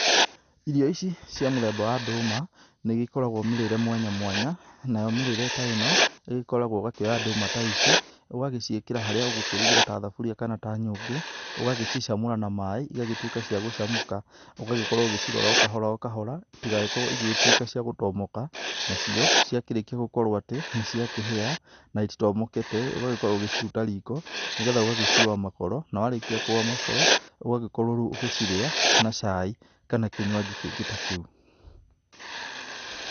Irio ici cia mũthemba wa ndũma nĩigĩkoragwa mĩrĩre mwanya mwanya nayo mĩrĩre ta ĩno igĩkoragwa ũkoya ndũma ta ici ũgaciĩkĩra harĩa ũgĩkĩrũgĩra ta thaburia kana ta nyũngũ ũgacicamũra na maĩ igagĩtũĩka ciagũcamũka ũgagĩkorwo ũgĩcirora ũkahora ũkahora itigagĩkorwo ĩgĩgĩtũĩka cia gũtomoka nacio, ciarĩkia gũkorwo atĩ nĩciakĩhĩa na ititomokete ũgagĩkorwo ũgĩciruta riko nĩgetha ũgaciũwa makoro nawarĩkia kũuwa makoro, ũgagĩkorwo rĩũ ũgĩcirĩa na cai kana kĩnywaji kĩngĩ ta kĩũ.